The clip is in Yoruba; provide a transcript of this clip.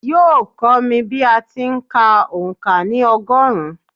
Yóò kọ́ mi bí a ti ń kà òǹkà ní ọgọ́rùn-ún